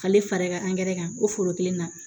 K'ale faga kan ko foro kelen na